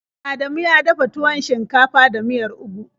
Adamu ya dafa tuwon shinkafa da miyar ugu.